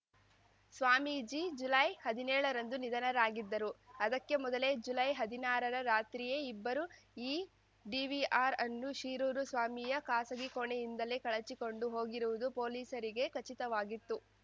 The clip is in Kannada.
ಸ್ವಾಮೀಜಿ ಜುಲೈಹದಿನೇಳರಂದು ನಿಧನರಾಗಿದ್ದರು ಅದಕ್ಕೆ ಮೊದಲೇ ಜುಲೈಹದಿನಾರರ ರಾತ್ರಿಯೇ ಇಬ್ಬರು ಈ ಡಿವಿಆರ್‌ ಅನ್ನು ಶಿರೂರು ಸ್ವಾಮೀಯ ಖಾಸಗಿ ಕೋಣೆಯಿಂದಲೇ ಕಳಚಿಕೊಂಡು ಹೋಗಿರುವುದು ಪೊಲೀಸರಿಗೆ ಖಚಿತವಾಗಿತ್ತು